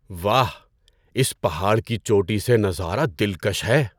واہ! اس پہاڑ کی چوٹی سے نظارہ دلکش ہے!